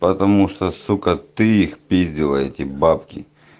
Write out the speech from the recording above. потому что сука ты их пиздила эти бабки